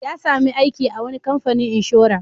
Ya sami aiki a wani kamfanin inshora.